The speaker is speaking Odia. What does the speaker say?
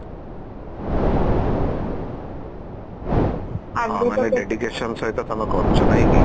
ଆଉ ମାନେ dedication ସହିତ ତମେ କରୁଚ ନାଇଁକି